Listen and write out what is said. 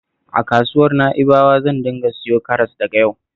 A kasuwar Na'ibawa zan dinga siyo karas daga yau